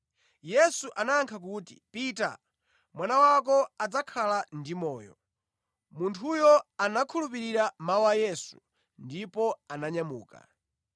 Yesu anayankha kuti, “Pita. Mwana wako adzakhala ndi moyo.” Munthuyo anakhulupirira mawu a Yesu ndipo ananyamuka.